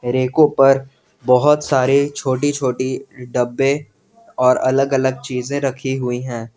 Renko पर बहोत सारे छोटी छोटी डब्बे और अलग अलग चीजे रखी हुई हैं।